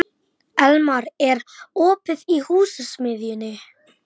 Elía, syngdu fyrir mig „Afgan“.